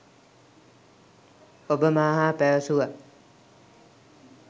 ඔබ මා හා පැවසුවා